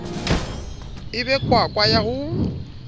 e be kwakwa ya ho